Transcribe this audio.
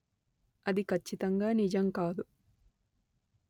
అది కచ్చితంగా నిజం కాదు